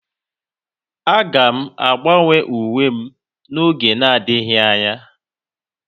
Aga m agbanwe uwe m n'oge adịghị anya